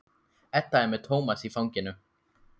Edda er með Tómas í fanginu.